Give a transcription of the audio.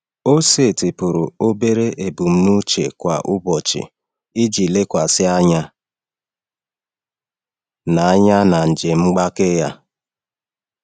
Ọ setịpụrụ obere ebumnuche kwa ụbọchị iji lekwasị anya na anya na njem mgbake ya.